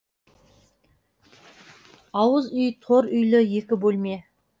ауыз үй тор үйлі екі бөлме